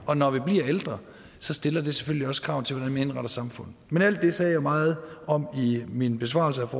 og når vi bliver ældre stiller det selvfølgelig også krav til hvordan man indretter samfundet men alt det sagde jeg meget om i min besvarelse af